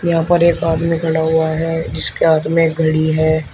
यहां पर एक आदमी खड़ा हुआ है जिसके हाथ में एक घड़ी है।